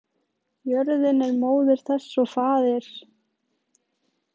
Jörðin er móðir þess og faðir.